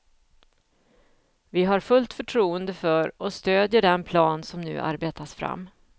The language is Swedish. Vi har fullt förtroende för och stödjer den plan som nu arbetas fram.